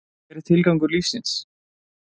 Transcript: Hver er tilgangur lífsins?